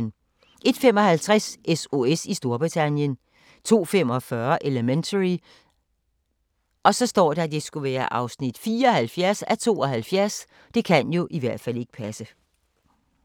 01:55: SOS i Storbritannien 02:45: Elementary (74:72)